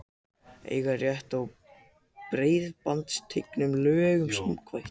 Eiga rétt á breiðbandstengingu lögum samkvæmt